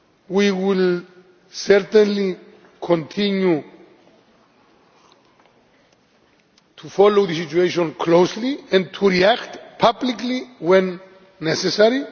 We will certainly continue to follow the situation closely and to react publicly when necessary.